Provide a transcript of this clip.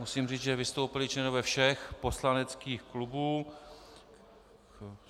Musím říct, že vystoupili členové všech poslaneckých klubů.